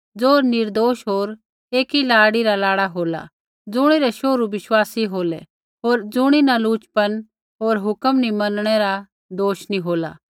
ज़ो निर्दोष होर एकी लाड़ी रा लाड़ा होलै ज़ुणिरै शोहरू बिश्वासी होलै होर ज़ुणीन लुचपन होर हुक्म नी मनणै रा दोष नैंई होला